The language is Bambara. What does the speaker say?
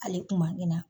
Ale kuma ɲina